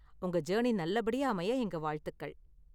உங்க ஜர்னி நல்ல படியா அமைய எங்க வாழ்த்துக்கள்.